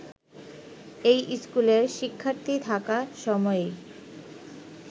এই স্কুলের শিক্ষার্থী থাকা সময়েই